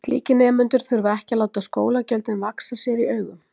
Slíkir nemendur þurfa ekki að láta skólagjöldin vaxa sér í augum.